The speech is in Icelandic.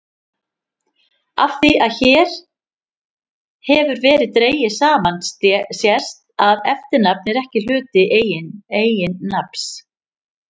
Af því sem hér hefur verið dregið saman sést að eftirnafn er ekki hluti eiginnafns.